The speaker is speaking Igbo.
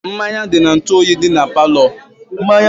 Mmanya dị n'ntu oyi dị na palo